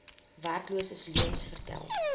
werkloses leuens vertel